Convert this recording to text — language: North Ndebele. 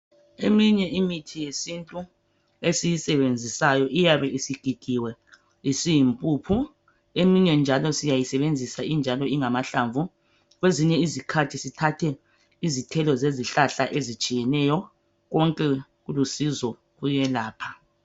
Eminye imithi yesintu esiyisebenzisayo iyabe isigigiwe isiyimpuphu eyinye njalo siyayisebenzisa injalo ingama hlamvu kwezinye izikhathi sithathe izithelo zezihlahla ezitshiyeneyo konke kulusizo kuyelapha